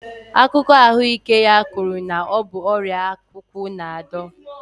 Akụkọ ahụike ya kwuru na ọ bụ ọrịa akwụkwụ na-adọ